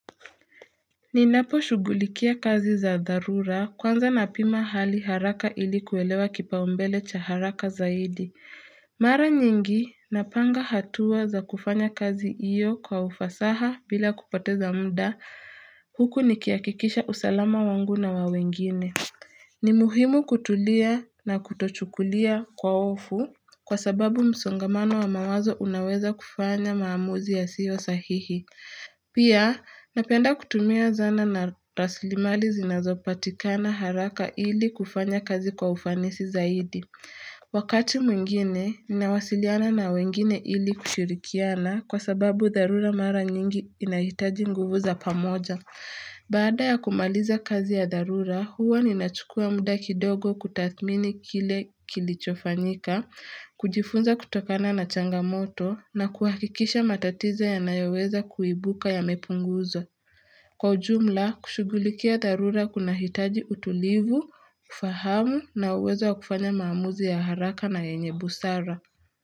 Ninaposhughulikia kazi za dharura kwanza napima hali haraka ili kuelewa kipaumbele cha haraka zaidi. Mara nyingi napanga hatua za kufanya kazi iyo kwa ufasaha bila kupoteza mda huku nikihakikisha usalama wangu na wa wengine. Ni muhimu kutulia na kutochukulia kwa hofu kwa sababu msongamano wa mawazo unaweza kufanya maamuzi yasiyo sahihi. Pia, napenda kutumia zana na rasilimali zinazopatikana haraka ili kufanya kazi kwa ufanisi zaidi. Wakati mwingine, ninawasiliana na wengine ili kushirikiana kwa sababu dharura mara nyingi inahitaji nguvu za pamoja. Baada ya kumaliza kazi ya dharura, huwa ninachukua muda kidogo kutathmini kile kilichofanyika, kujifunza kutokana na changamoto na kuhakikisha matatizo yanayoweza kuibuka yamepunguzwa Kwa jumla, kushughulikia dharura kunahitaji utulivu, kufahamu na uwezo wa kufanya maamuzi ya haraka na yenye busara.